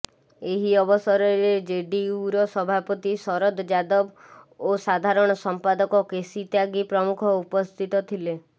ଏହି ଅବସରରେ ଜେଡିୟୁର ସଭାପତି ଶରଦ ଯାଦବ ଓ ସାଧାରଣ ସମ୍ପାଦକ କେସି ତ୍ୟାଗୀ ପ୍ରମୁଖ ଉପସ୍ଥିତ ଥିଲେ